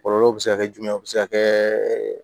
Kɔlɔlɔ bɛ se ka kɛ jumɛn a bɛ se ka kɛ